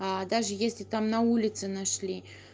даже если там на улице нашли